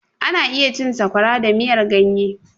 Ana iya cin Sakwaya da miyar ganye.